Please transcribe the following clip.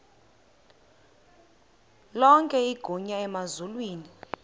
lonke igunya emazulwini